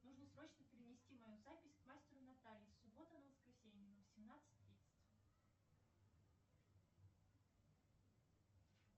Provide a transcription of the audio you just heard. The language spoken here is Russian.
нужно срочно перенести мою запись к мастеру наталье с субботы на воскресенье на восемнадцать тридцать